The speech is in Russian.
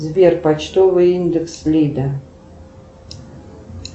сбер почтовый индекс лида